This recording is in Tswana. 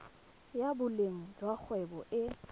ya boleng jwa kgwebo e